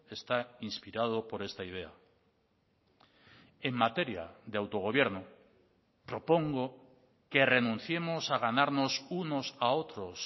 está inspirado por esta idea en materia de autogobierno propongo que renunciemos a ganarnos unos a otros